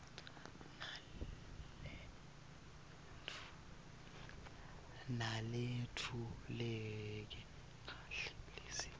naletfuleke kahle lizinga